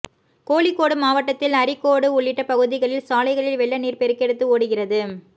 கோழிக்கோடு மாவட்டத்தில் அரீக்கோடு உள்ளிட்ட பகுதிகளில் சாலைகளில் வெள்ள நீர் பெருக்கெடுத்து ஓடுகிறது